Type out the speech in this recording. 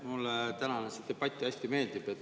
Mulle tänane see debatt hästi meeldib.